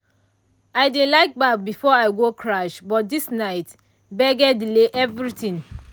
i dey like baff before i go crash but this night gbege delay everything.